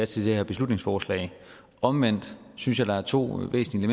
til det her beslutningsforslag omvendt synes jeg der er to væsentlige